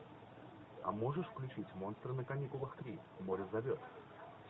а можешь включить монстры на каникулах три море зовет